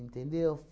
Entendeu?